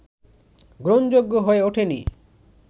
গ্রহণযোগ্য হয়ে ওঠেনি